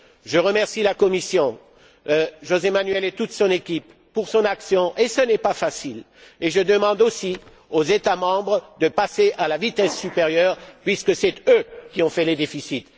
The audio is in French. Je remercie la Commission José Manuel et toute son équipe pour son action, qui n'est pas une tâche aisée, et je demande aussi aux États membres de passer à la vitesse supérieure puisque ce sont eux qui ont fait les déficits.